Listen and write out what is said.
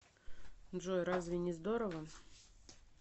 джой разве не здорово